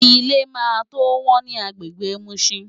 Ilé máa tó wọ́n ní agbègbè Mushin.